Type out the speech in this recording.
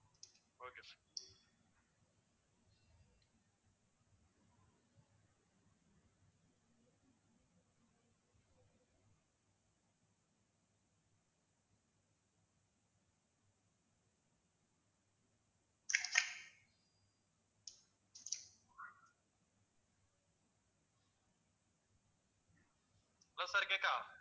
hello sir கேக்குதா